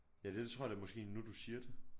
Ja det tror jeg da måske nu du siger det